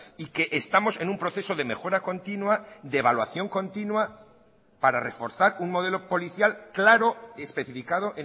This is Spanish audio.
y que estamos en un proceso de mejora continua de evaluación continua para reforzar un modelo policial claro y especificado